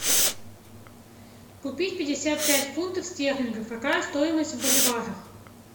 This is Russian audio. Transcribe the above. купить пятьдесят пять фунтов стерлингов какая стоимость в боливарах